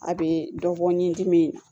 A bɛ dɔ bɔ ni n dimi ye